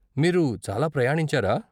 మీరు చాలా ప్రయాణించారా?